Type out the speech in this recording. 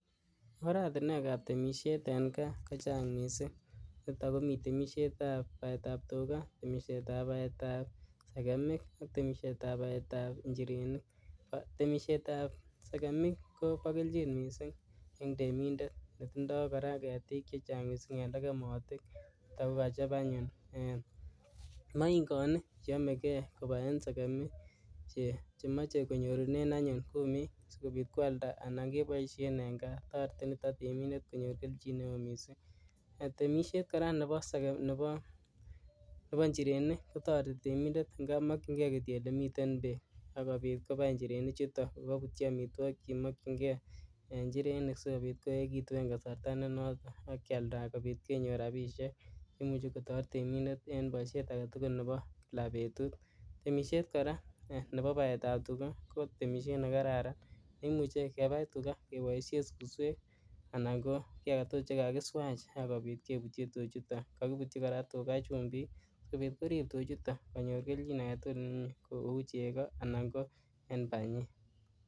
Oratinwekab temisiet en kaa kochang kot misink niton komi temisietab baetab tukaa temisietab baetab sekemik, temisietab baetab inchirenik, temisietab sekemik kobokeljin misink en temintet netindoo ketik en lekemotik niton kokochop anyuun moingonik cheomeke kobaen sekemik chemoche konyorunen anyun kumik sikobit kwaldaa anan keboisien en kaa toreti niton temiten konyor keljin neo misink temisiet koraa neboo inchirenik inkap mokyinkee kityok ele miten beek ak kobit kobai inchirenik chuton kokobutyi omituokik chemokyinkee inchirenik sikobit koekitun en kasartaa nenoton ak kialdaa kobit kenyor rabisiek chemuche kotoret temintet en boisiet aketugul neboo kila betut temisiet koraa neboo baetab tukaa koo temisiet nekararan neimuche kebai tukaa keboisien suswek anan koo kii aketugul nen kakiswaach ak kobit kebutyi tuchuuto kokibutyi koraa tukaa chumbik sikobit korib koraa tuchuuto konyor keljin aketugul nemie kou chekoo anan kobanyeek.